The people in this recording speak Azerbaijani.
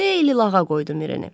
Xeyli lağa qoydu Mirini.